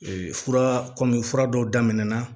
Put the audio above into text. fura kɔmi fura dɔw daminɛna